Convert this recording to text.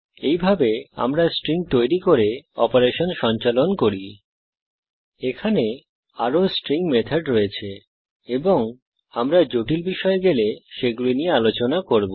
এইভাবে আমরা স্ট্রিং তৈরি করি এবং স্ট্রিং অপারেশন সঞ্চালন করি এখানে আরো স্ট্রিং মেথড রয়েছে এবং আমরা জটিল বিষয়ে গেলে সেগুলি নিয়ে আলোচনা করব